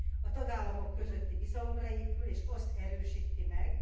A tagállamok közötti bizalomra épül, és azt erősíti meg.